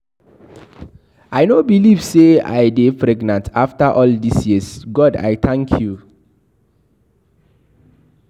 I no believe say I dey pregnant after all dis years. God I thank you.